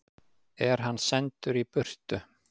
Er hann sendur í burtu?